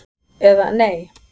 eða Nei!